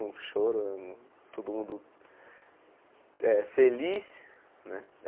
Um choro, todo mundo eh feliz né.